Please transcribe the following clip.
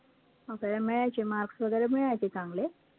आपल्याला मिळायचे, marks वैगरे मिळायचे चांगले